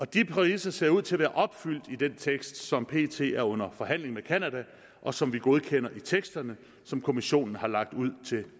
de præmisser ser ud til at være opfyldt i den tekst som pt er under forhandling med canada og som vi godkender i teksterne som kommissionen har lagt ud til